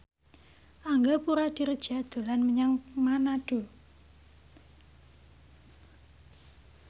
Angga Puradiredja dolan menyang Manado